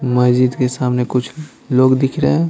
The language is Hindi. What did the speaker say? मस्जिद के सामने कुछ लोग दिख रहे हैं।